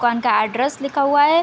दुकान का एड्रेस लिखा हुआ है।